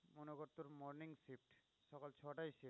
ছটায় শেষ।